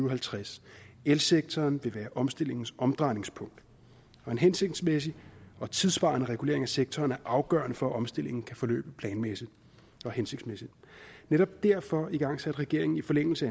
og halvtreds elsektoren vil være omstillingens omdrejningspunkt og en hensigtsmæssig og tidssvarende regulering af sektoren er afgørende for at omstillingen kan forløbe planmæssigt og hensigtsmæssigt netop derfor igangsatte regeringen i forlængelse